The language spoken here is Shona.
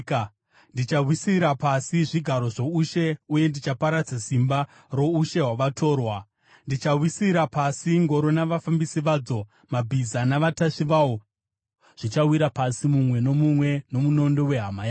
Ndichawisira pasi zvigaro zvoushe uye ndichaparadza simba roushe hwavatorwa. Ndichawisira pasi ngoro navafambisi vadzo; mabhiza navatasvi vawo zvichawira pasi, mumwe nomumwe nomunondo wehama yake.